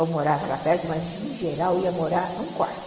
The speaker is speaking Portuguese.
ou morava lá perto, mas em geral ia morar num quarto.